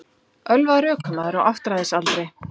Ölvaður ökumaður á áttræðisaldri